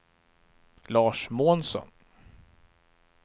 Lars Månsson